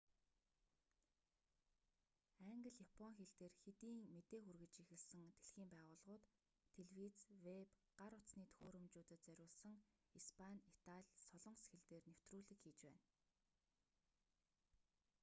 англи япон хэл дээр хэдийн мэдээ хүргэж эхэлсэн дэлхийн байгууллагууд телевиз вэб гар утасны төхөөрөмжүүдэд зориулсан испани итали солонгос хэл дээр нэвтрүүлэг хийж байна